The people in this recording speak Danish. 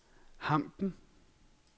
Hampen